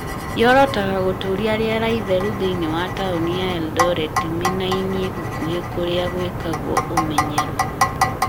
yorotaga gũtũũria rĩera itheru thĩinĩ wa taũni ya Eldoret miĩnainĩ gũkũhĩ na kũrĩa gwĩkagwo ũmenyeru.